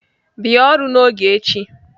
Bịa ọrụ n'oge echi!